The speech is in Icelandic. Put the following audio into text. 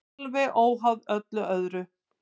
Alveg óháð öllu öðru.